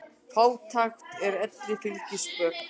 Fátækt er elli fylgispök.